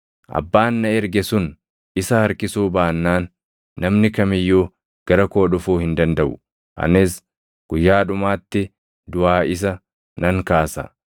Abbaan na erge sun isa harkisuu baannaan namni kam iyyuu gara koo dhufuu hin dandaʼu; anis guyyaa dhumaatti duʼaa isa nan kaasa.